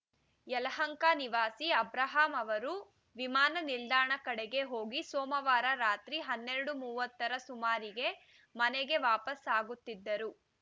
ಯಲಹಂಕ ನಿವಾಸಿ ಅಬ್ರಾಹಂ ಅವರು ವಿಮಾನ ನಿಲ್ದಾಣ ಕಡೆಗೆ ಹೋಗಿ ಸೋಮವಾರ ರಾತ್ರಿ ಹನ್ನೆರಡು ಮೂವತ್ತರ ಸುಮಾರಿಗೆ ಮನೆಗೆ ವಾಪಸ್‌ ಆಗುತ್ತಿದ್ದರು